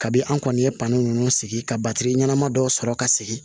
Kabi an kɔni ye pali nunnu sigi ka batiri ɲɛnama dɔw sɔrɔ ka sigi